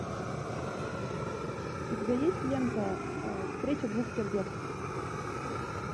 у тебя есть лента встреча двух сердец